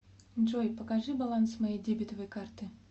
джой покажи баланс моей дебетовой карты